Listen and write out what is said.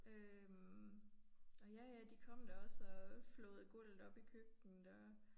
Øh og ja ja de kom da også og flåede gulvet op i køkkenet og